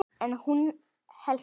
En hún hélt út.